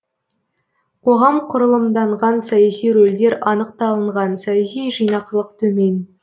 қоғам құрылымданған саяси рөлдер анық талынған саяси жинақылық төмен